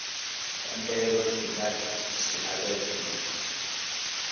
khumbelo dzi nga dzhia vhege mbili